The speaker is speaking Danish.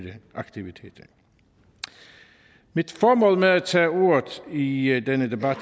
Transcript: aktiviteter mit formål med at tage ordet i i denne debat